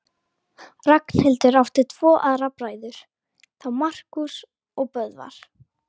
Ragnhildur átti tvo aðra bræður, þá Markús og Böðvar.